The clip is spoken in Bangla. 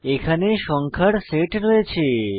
এখানে সংখ্যার সেট রয়েছে